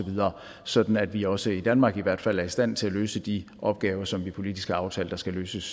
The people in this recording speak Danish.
sådan at vi også i danmark i hvert fald er i stand til at løse de opgaver som vi politisk har aftalt skal løses